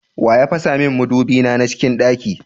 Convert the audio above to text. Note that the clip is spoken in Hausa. Waya fasamin madubi na a cikin ɗaki?